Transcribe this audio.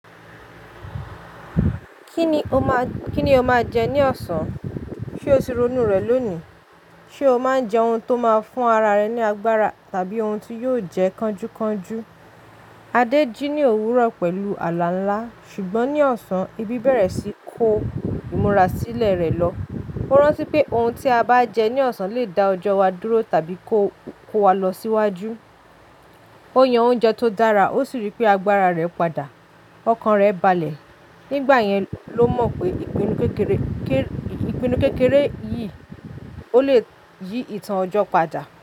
Kíni o má, kíni o má jẹ ní ọ̀sán? Ṣé o ti ronú rẹ̀ lónìí? Ṣé o máa ń jẹ ohun tó máa ń fún ara rẹ ní agbára tàbí ohun tí yóò jẹ kanju kanju? Adé jí ní òwúrọ̀ pẹ̀lú àlà ńlá, ṣùgbọ́n ní ọ̀sán, ebi bẹ̀rẹ̀ sí í kó ìmúra sílẹ̀ rẹ̀ lọ. Ó rántí pé ohun tí a bá jẹ ní ọ̀sán lè dá ọjọ́ wa dúró tàbí kó, kó wa lọ síwájú. Ó yan oúnjẹ tó dára ó sì rí pé agbára rẹ̀ padà, ọkàn rẹ̀ balẹ̀. Nígbà yẹn ló mọ̀ pé ìpinnu kékeré, ìpinnu kékeré yìí ó lè yí ìtàn ọjọ́ padà.